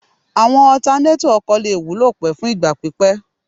Àwọn ọtanétọ̀ ọkọ̀ lè wúlò pẹ́ fún ìgbà pípẹ́